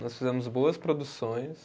Nós fizemos boas produções.